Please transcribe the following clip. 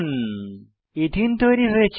এথেনে ethene তৈরী হয়েছে